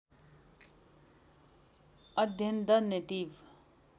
अध्ययन the native